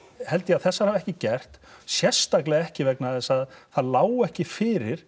held ég að þessar hafi ekki gert sérstaklega ekki vegna þess að það lá ekki fyrir